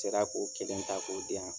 sera k'o kelen ta k'o di yan.